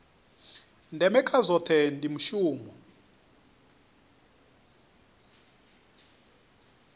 ndeme kha zwohe ndi mushumo